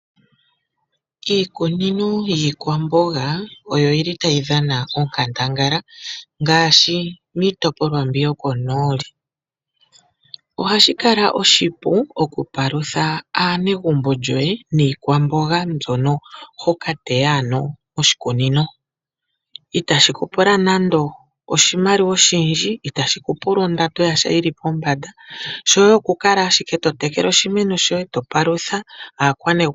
Iikunino yiikwambonga oyo yili tayi dhana onkandangala ngaashi miitopolwa mbi yokonooli. Ohashi kala oshipu okupalutha aanegumbo lyoye niikwamboga mbyono ho ka teya ano moshikunino, itashi ku pula nando oshimaliwa oshindji, itashi ku pula ondando yasha yili pombanda, shoye okukala ashike to tekele oshimeno shoye, to palutha aakwanegumbo.